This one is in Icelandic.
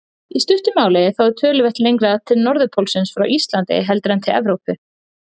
Í stuttu máli þá er töluvert lengra til norðurpólsins frá Íslandi heldur en til Evrópu.